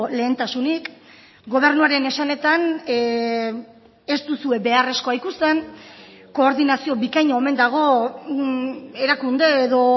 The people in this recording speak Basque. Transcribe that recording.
lehentasunik gobernuaren esanetan ez duzue beharrezkoa ikusten koordinazio bikaina omen dago erakunde edo